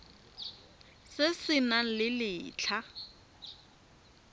se se nang le letlha